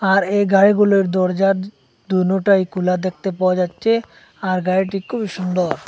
আর এই গাড়িগুলোর দরজা দো দোনটাই খোলা দেখতে পাওয়া যাচ্ছে আর গাড়িটি খুবই সুন্দর।